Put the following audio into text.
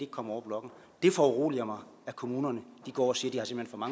kommer over blokken det foruroliger mig at kommunerne går og siger